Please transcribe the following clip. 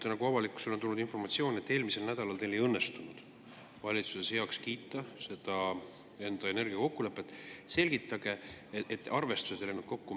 Avalikkusele on tulnud informatsioon, et eelmisel nädalal teil ei õnnestunud valitsuses heaks kiita seda energiakokkulepet, et arvestused ei läinud kokku.